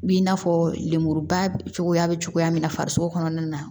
B'i n'a fɔ lemuruba cogoya be cogoya min na farisoko kɔnɔna na